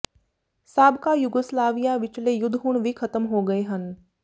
ਸਾਬਕਾ ਯੂਗੋਸਲਾਵੀਆ ਵਿਚਲੇ ਯੁੱਧ ਹੁਣ ਵੀ ਖਤਮ ਹੋ ਗਏ ਹਨ